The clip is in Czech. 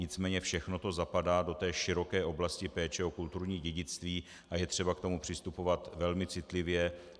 Nicméně všechno to zapadá do té široké oblasti péče o kulturní dědictví a je třeba k tomu přistupovat velmi citlivě.